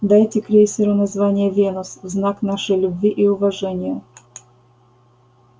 дайте крейсеру название венус в знак нашей любви и уважения